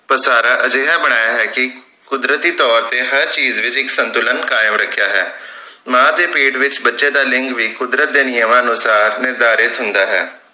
ਵਸਾਰਾ ਅਜਿਹਾ ਬਣਾਇਆ ਹੈ ਕਿ ਕੁਦਰਤੀ ਤੌਰ ਤੇ ਹਰ ਚੀਜ ਵਿਚ ਇਕ ਸੰਤੁਲਨ ਕਾਇਮ ਰਖਿਆ ਹੈ ਮਾਂ ਦੇ ਪੇਟ ਵਿਚ ਬੱਚੇ ਦਾ ਲਿੰਗ ਵੀ ਕੁੱਦਰਤ ਦੇ ਨਿਯਮਾਂ ਅਨੁਸਾਰ ਨਿਰਧਾਰਿਤ ਹੁੰਦਾ ਹੈ